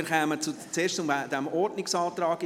Wir kommen also zuerst zu diesem Ordnungsantrag.